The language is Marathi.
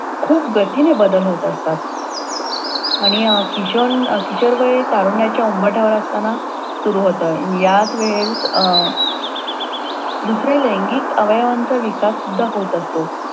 खूप गतीने बदल होत असतात. आणि किशोर किशोरवय तारुण्याच्या उंबरठ्यावर असतांना सुरु होत आणि ह्याच वेळेस दुसरे लैगिक अवयवांचा विकास सुद्धा होत असतो.